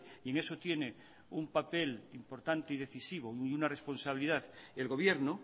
y en eso tiene un papel importante y decisivo y una responsabilidad el gobierno